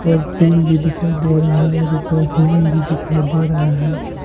और पेड़ भी दिखाई दे रहा है और ऊपर आसमान भी दिखाई दे रहा है।